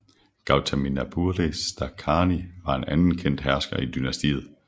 Gautamiputra Stakarni var en anden kendt hersker i dynastiet